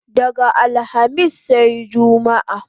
Daga alhamis sai jumma